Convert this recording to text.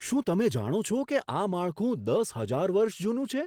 શું તમે જાણો છો કે આ માળખું દસ હજાર વર્ષ જૂનું છે?